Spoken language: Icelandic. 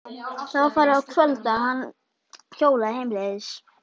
Það var farið að kvölda þegar hann hjólaði heimleiðis.